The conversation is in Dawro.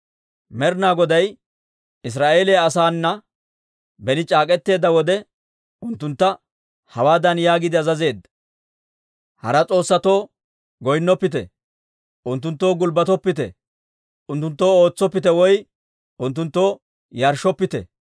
Med'ina Goday Israa'eeliyaa asaana beni c'aak'k'eteedda wode, unttuntta hawaadan yaagiide azazeedda; «Hara s'oossatoo goynnoppite; unttunttoo gulbbatoppite; unttunttoo ootsoppite woy unttunttoo yarshshoppite.